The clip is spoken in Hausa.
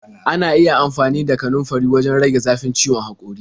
Ana iya amfani da kanunfari wajen rage zafin ciwon haƙori.